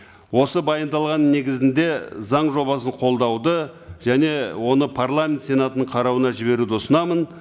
осы баяндалғанның негізінде заң жобасын қолдауды және оны парламент сенатының қарауына жіберуді ұсынамын